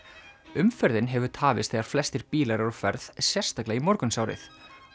umferðin hefur tafist þegar flestir bílar eru á ferð sérstaklega í morgunsárið